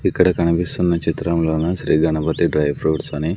ఇక్కడ కనిపిస్తున్న చిత్రంలోన శ్రీ గణపతి డ్రై ఫ్రూట్స్ అని--